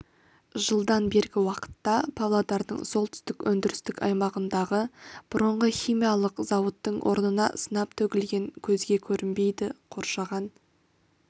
жылдан бергі уақытта павлодардың солтүстік өндірістік аймағындағы бұрынғы химиялық зауыттың орнына сынап төгілген көзге көрінбейді қоршаған